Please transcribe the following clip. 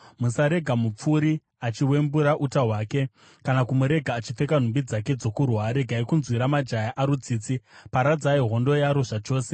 Musarega mupfuri achiwembura uta hwake, kana kumurega achipfeka nhumbi dzake dzokurwa. Regai kunzwira majaya aro tsitsi; paradzai hondo yaro zvachose.